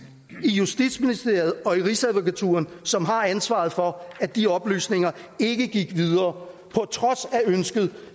justitsministeriet og i rigsadvokaturen som har ansvaret for at de oplysninger ikke gik videre på trods af ønsket